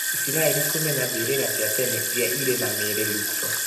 Israel kũmenya mberĩra cia tene irĩa irĩ na mĩĩrĩ, Luxor.